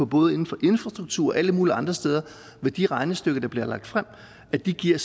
både inden for infrastruktur og alle mulige andre steder hvor de regnestykker der bliver lagt frem giver